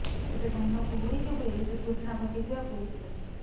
ତେବେ ଘନ କୁହୁଡ଼ି ଯୋଗୁ ଏହି ଦୁର୍ଘଟଣା ଘଟିଥିବା ପୁଲିସ୍ କହିଛି